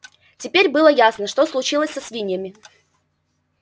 теперь было ясно что случилось со свиньями